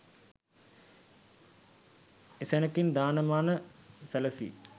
එසැණකින් දාන මාන සැලසී